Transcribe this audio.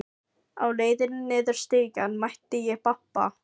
Á leiðinni niður stigann mæti ég pabba.